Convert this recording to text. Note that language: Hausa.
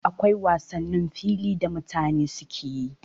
Akwai wasannin fili da mutane suke yi